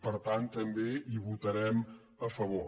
per tant també hi votarem a favor